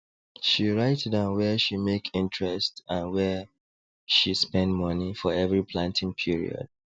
she write down wia she make interest and wia she spend money for every planting period